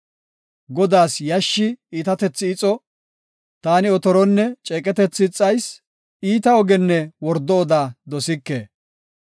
Godaas yashshi iitatethi ixo; taani otoronne ceeqetethi ixayis; iita ogenne wordo oda dosike.